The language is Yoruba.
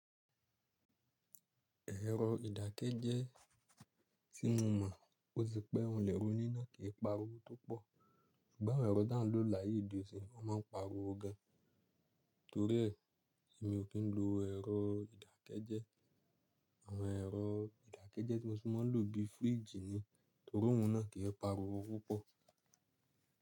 Ẹ̀rọ ìdàkẹ jẹ tí mo mọ̀ ó ṣe pé òun lè roní náà kì í pariwo tó pọ̀, ṣùgbọ́n ẹ̀rọ dá ń lò láyé ìdí òṣìǹ, wọ́n má ń pariwo gan. Torí ẹ̀, èmi ò kí ń lo ẹ̀rọ ìdàkẹjẹ. Àwọn ẹ̀rọ ìdàkẹjẹ tí Mosi mọ n lò bíi fíríjì ni, torí òun náà kì í pariwo púpọ̀.